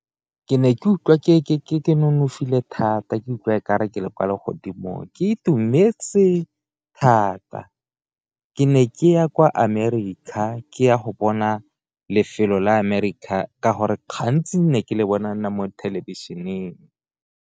Ke ne ke utlwa ke nonofile thata, ke utlwa ka e kare kwa legodimo ke itumetse thata ke ne ke ya kwa America ke ya go bona lefelo la America gore gantsi ne ke le bona mo thelebišeneng.